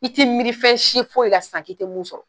I t'i miiri fɛn si foyi la sisan k'i te min sɔrɔ